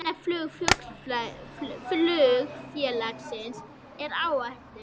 Annað flug flugfélagsins er á áætlun